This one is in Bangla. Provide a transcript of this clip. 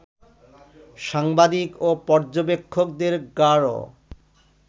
সাংবাদিক ও পর্যবেক্ষকদের গাড়